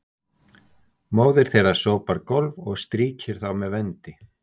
móðir þeirra sópar gólf og strýkir þá með vendi